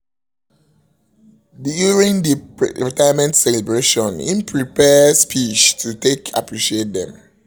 during the retirement celebration he prepare speech to take appreciate dem